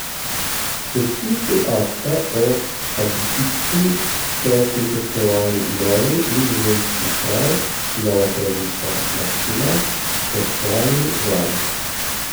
Podpisu akta o abdikaciji so prisostvovali novi nizozemski kralj, nova kraljica Maksima ter člani vlade.